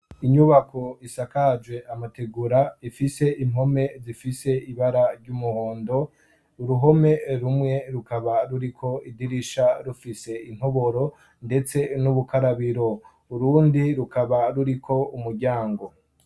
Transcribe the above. Inyubako isakaje amategura ifise impome zifise ibara ry'umuhondo, uruhome rumwe rukaba ruriko idirisha rufise intoboro, ndetse n'ubukarabiro. Urundi rukaba ruriko umuryango.